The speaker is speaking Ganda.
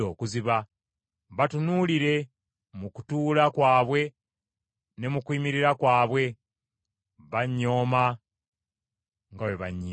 Batunuulire mu kutuula kwabwe ne mu kuyimirira kwabwe; bannyooma nga bwe bannyimbirira.